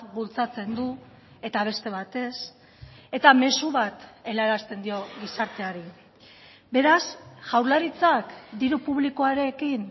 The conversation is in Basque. bultzatzen du eta beste bat ez eta mezu bat helarazten dio gizarteari beraz jaurlaritzak diru publikoarekin